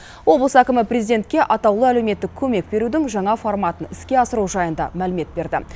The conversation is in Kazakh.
облыс әкімі президентке атаулы әлеуметтік көмек берудің жаңа форматын іске асыру жайында мәлімет берді